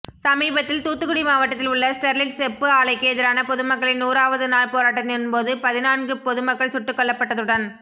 சமீபத்தில் தூத்துக்குடி மாவட்டத்தில் உள்ள ஸ்டெர்லைட் செப்பு ஆலைக்கு எதிரான பொதுமக்களின் நூறாவது நாள் போராட்டத்தின்போது பதின்நான்கு பொதுமக்கள் சுட்டுக்கொல்லப்பட்டதுடன்